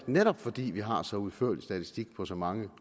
netop fordi vi har så udførlig statistik på så mange